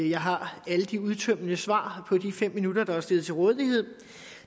jeg har alle de udtømmende svar på de fem minutter der er stillet til rådighed